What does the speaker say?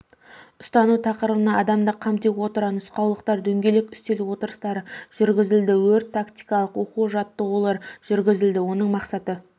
ұстану тақырыбына адамды қамти отыра нұсқаулықтар дөңгелек үстел отырыстары жүргізілді өрт-тактикалық оқу-жаттығулар жүргізілді оның мақсаты